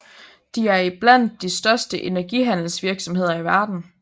De er er i blandt de største energihandelsvirksomheder i verden